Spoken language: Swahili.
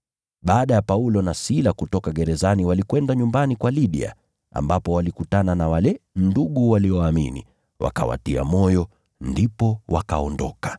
Baada ya Paulo na Sila kutoka gerezani walikwenda nyumbani kwa Lidia, ambapo walikutana na wale ndugu walioamini, wakawatia moyo, ndipo wakaondoka.